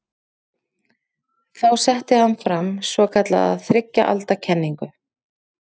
Þá setti hann fram svokallaða þriggja alda kenningu.